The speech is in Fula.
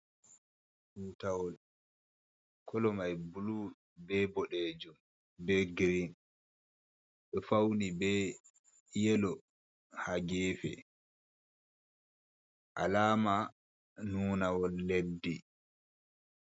Tutawol kolo mai blu, be boɗejum, be grin, ɓe fauni be yelo ha gefe, alama nuna wol leddi.